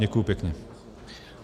Děkuji pěkně.